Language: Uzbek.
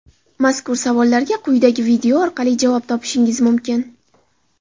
Mazkur savollarga quyidagi video orqali javob topishingiz mumkin.